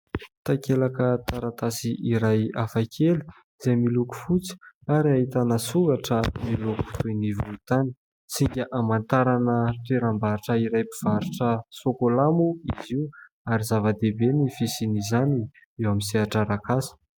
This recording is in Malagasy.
Takelaka taratasy iray hafakely izay miloko fotsy ary ahitana soratra miloko toy ny volontany. Singa hamantarana toeram-barotra iray mpivarotra sokola moa izy io ary zava-dehibe ny fisian'izany eo amin'ny sehatra arak'asa.